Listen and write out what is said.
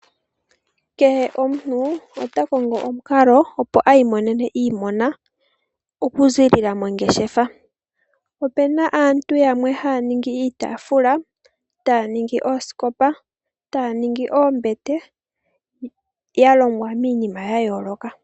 Kehe omuntu ota kongo omukala opo iimonene iimona okuziilila mongeshefa. Opena aantu yamwe haya ningi iitafula, oosikopa noombete dhalongwa miinima yayooloka.